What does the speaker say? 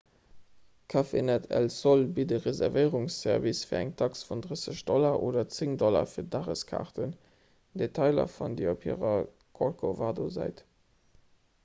cafenet el sol bitt e reservéierungsservice fir eng tax vun 30 $ oder 10 $ fir dageskaarten; detailer fannt dir op hirer corcovado-säit